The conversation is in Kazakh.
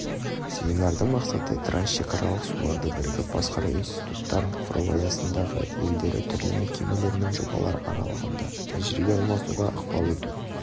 семинардың мақсаты трансшекаралық суларды бірігіп басқару институттарын құру аясындағы елдері түрлі мекемелер мен жобалар аралығында тәжірибе алмасуға ықпал ету